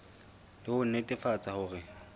e le ho nnetefatsa hore